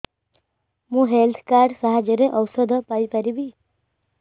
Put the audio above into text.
ମୁଁ health card ସାହାଯ୍ୟରେ ଔଷଧ ପାଇ ପାରିବି